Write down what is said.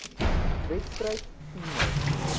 wedstryd toe nog